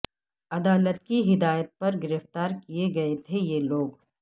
عدالت کی ہدایت پر گرفاتر کئے گئے تھے یہ لوگ